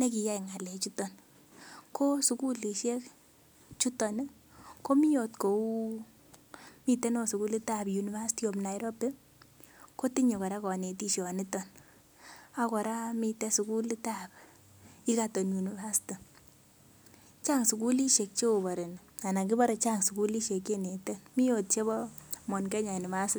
nekiyai ng'alek chuton ko sukulisiek chuton ih komii ot kou miten ot sukulit ab University of Nairobi kotinye kora konetishon niton ak kora miten sukulit ab Egerton University chang sukulisiek che ofareni ana kibore chang sukulisiek chenete mii ot chebo Mount Kenya university